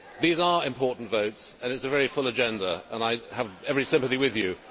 These are important votes and it is a very full agenda and I have every sympathy with you.